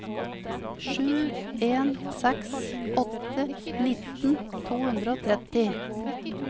sju en seks åtte nitten to hundre og tretti